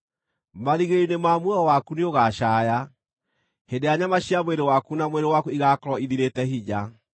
Marigĩrĩrio-inĩ ma muoyo waku nĩũgacaaya, hĩndĩ ĩrĩa nyama cia mwĩrĩ waku na mwĩrĩ waku igaakorwo ithirĩte hinya.